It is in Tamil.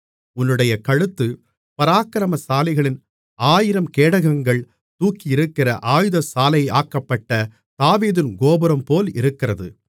உன்னுடைய கழுத்து பராக்கிரமசாலிகளின் ஆயிரம் கேடகங்கள் தூக்கியிருக்கிற ஆயுதசாலையாக்கப்பட்ட தாவீதின் கோபுரம்போல் இருக்கிறது